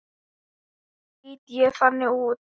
Lít ég þannig út?